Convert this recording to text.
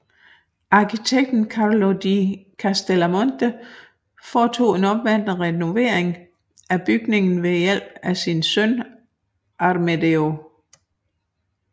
Arkitekten Carlo di Castellamonte foretog en omfattende renovering af bygningen med hjælp fra sin søn Amedeo